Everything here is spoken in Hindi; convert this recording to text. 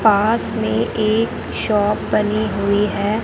पास में एक शॉप बनी हुई है।